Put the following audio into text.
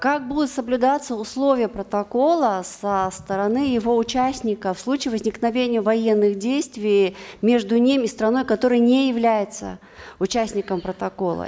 как будут соблюдаться условия протокола со стороны его участников в случае возникновения военных действий между ними и страной которая не является участником протокола